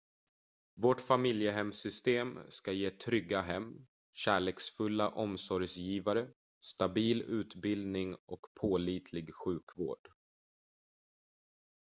vårt familjehemssystem ska ge trygga hem kärleksfulla omsorgsgivare stabil utbildning och pålitlig sjukvård